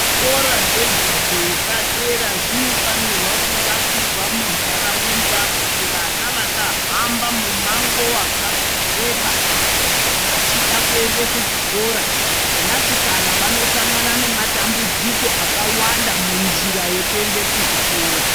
Zvikora zvidzidzo zvepadera zvinoshandiswa kuvakirwa mundaraunda kuti vana vasahamba mundaraunda mumango wakareba vachida kuenda kuchikora vana sikana vanosangana nematambudziko akawanda munzvimbo mekuenda kuzvikora.